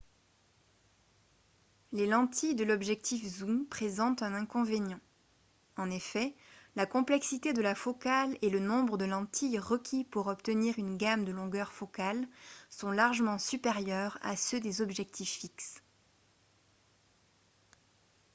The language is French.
les lentilles de l'objectif zoom présentent un inconvénient en effet la complexité de la focale et le nombre de lentilles requis pour obtenir une gamme de longueurs focales sont largement supérieurs à ceux des objectifs fixes